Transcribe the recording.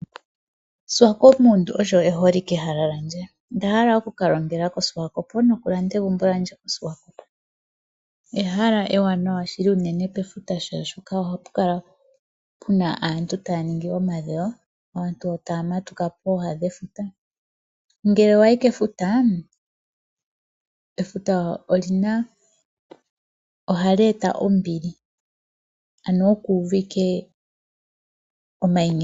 Swakopmund olyo eholikehala lyandje. Onda hala oku ka longela koSwakop nokulanda egumbo lyandje koSwakop. Ehala ewanawa shili unene pefuta molwaashoka ohapu kala puna aantu taya ningi omadhewo, aantu taya matuka pooha dhefuta. Ngele wayi kefuta, efuta ohali eta ombili ano oku uva ike omainyengo.